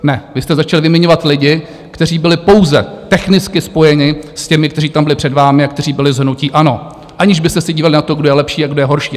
Ne, vy jste začali vyměňovat lidi, kteří byli pouze technicky spojeni s těmi, kteří tam byli před vámi a kteří byli z hnutí ANO, aniž byste si dívali na to, kdo je lepší a kdo je horší.